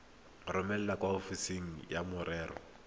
romele kwa ofising ya merero